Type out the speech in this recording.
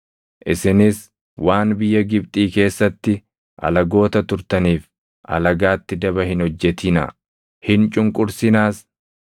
“Isinis waan biyya Gibxii keessatti alagoota turtaniif alagaatti daba hin hojjetinaa; hin cunqursinaas.